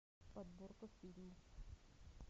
подборка фильмов